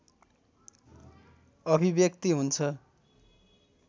अभिव्यक्ति हुन्छ